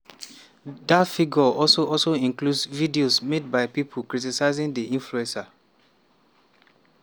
that figure also also includes videos made by people criticising the influencer.